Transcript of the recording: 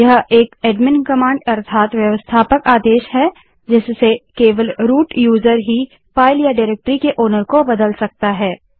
यह एक admin command है जिससे केवल रूट यूजर फाइल या डाइरेक्टरी के मालिक को बदल सकता है